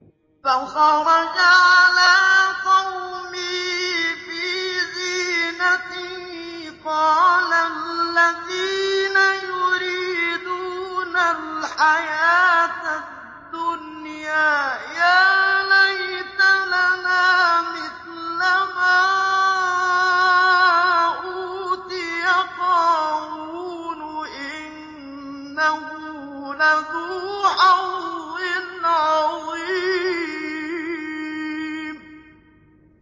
فَخَرَجَ عَلَىٰ قَوْمِهِ فِي زِينَتِهِ ۖ قَالَ الَّذِينَ يُرِيدُونَ الْحَيَاةَ الدُّنْيَا يَا لَيْتَ لَنَا مِثْلَ مَا أُوتِيَ قَارُونُ إِنَّهُ لَذُو حَظٍّ عَظِيمٍ